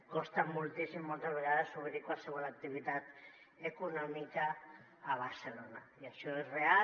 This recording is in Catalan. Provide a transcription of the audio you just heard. costa moltíssim moltes vegades obrir qualsevol activitat econòmica a barcelona i això és real